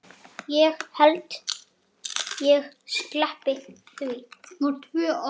Ég held ég sleppi því.